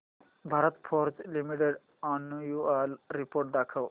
Bharat Forge Limited annual report दाखव